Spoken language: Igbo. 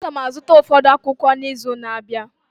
Aga m azụta ụfọdụ akwụkwọ akụkọ n'izu na-abịa